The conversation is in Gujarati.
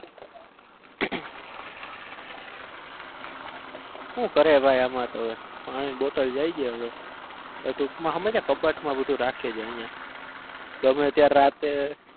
હું કરવા ભાઈ આમાં તો પાણી ની bottle લાઈ દઈએ હવે ટૂંક માં સમજ કબાટ માં બધું રાખીએ છીએ અઈયા ગમે ત્યારે રાતે